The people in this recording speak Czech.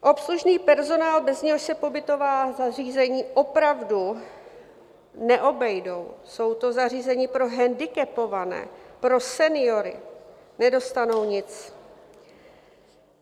Obslužný personál, bez něhož se pobytová zařízení opravdu neobejdou, jsou to zařízení pro handicapované, pro seniory, nedostanou nic.